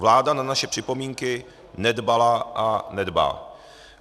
Vláda na naše připomínky nedbala a nedbá.